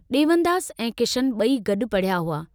डेवनदास ऐं किशनु बई गड्डु पड़िहया हुआ।